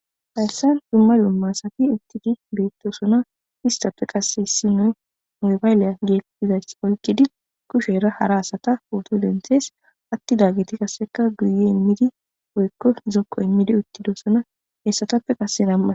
Hayssandummadumma asatti eqqidi betossona esttappe qasse issoy mobayllera eqqiddi etta potto denthees attidayssati zokko immidi uttidossonna.